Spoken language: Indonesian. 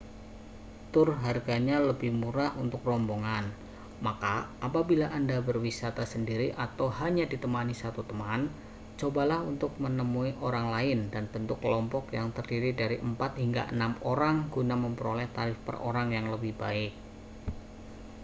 tur harganya lebih murah untuk rombongan maka apabila anda berwisata sendiri atau hanya ditemani satu teman cobalah untuk menemui orang lain dan bentuk kelompok yang terdiri dari empat hingga enam orang guna memperoleh tarif per orang yang lebih baik